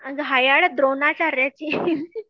घायाळ Dronacharya